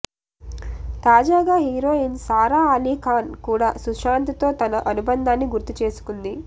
తాజాగా హీరోయిన్ సారా అలీ ఖాన్ కూడా సుశాంత్ తో తన అనుబంధాన్ని గుర్తు చేసుకుంది